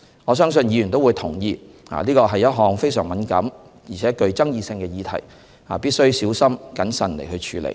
我相信議員都會同意，這是一項非常敏感且具爭議性的議題，必須小心謹慎處理。